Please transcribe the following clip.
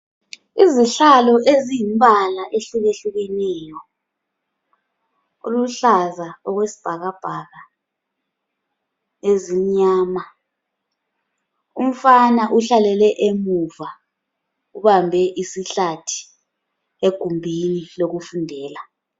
Izihlalo ezingumbala ehlukehlukeneyo. Oluhlaza okwesibhakabhaka, ezimnyama. Umfana uhlalele emuva ubambe isihlathi egumbini lokufundela.